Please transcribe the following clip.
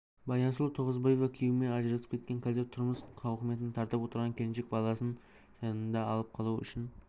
баянсұлу тоғызбаева күйеуімен ажырасып кеткен қазір тұрмыс тауқыметін тартып отырған келіншек баласын жанында алып қалу үшін